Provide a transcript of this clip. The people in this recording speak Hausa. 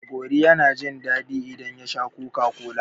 Gogori yana jin daɗi idan ya sha Coca-Cola.